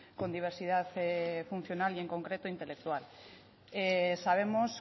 con diversidad funcional y en concreto intelectual sabemos